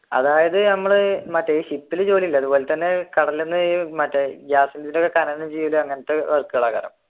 അതായത് ഞമ്മള് മറ്റേ ഷിപ്പിൽ ജോലിയുണ്ട് അതുപോലെ തന്നെ അങ്ങനത്തെ work കൾ ഒക്കെ